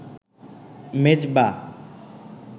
Mezba.